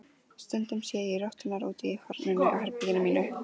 Stundum sé ég rotturnar úti í hornunum á herberginu mínu.